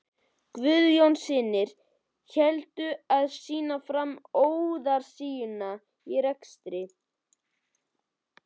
Guðjónssyni heldur til að sýna fram á óráðsíuna í rekstri